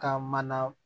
Ka mana